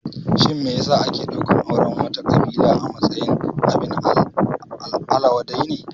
Shin me ya sa ake ɗaukan auren wata ƙabila a matsayin abin ala wadai ne?